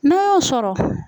N'o y'o sɔrɔ.